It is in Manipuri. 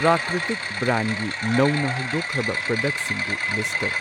ꯄ꯭ꯔꯥꯀ꯭ꯔꯤꯇꯤꯛ ꯕ꯭ꯔꯥꯟꯒꯤ ꯅꯧꯅ ꯍꯧꯗꯣꯛꯈ꯭ꯔꯕ ꯄ꯭ꯔꯗꯛꯁꯤꯡꯗꯨ ꯂꯤꯁꯠ ꯇꯧ꯫